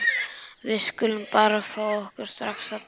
Við skulum bara fá okkur strax að drekka.